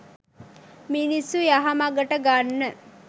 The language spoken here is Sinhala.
මිනිස්සු යහ මගට ගන්න.